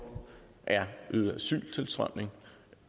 er øget asyltilstrømning